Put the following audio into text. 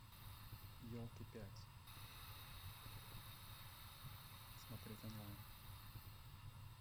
елки пять смотреть онлайн